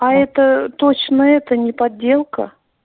а это точно это не подделка